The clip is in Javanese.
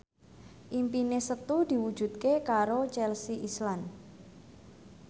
impine Setu diwujudke karo Chelsea Islan